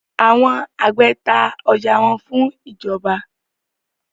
Àwọn àgbẹ ta ọjà wọn fún ìjọba.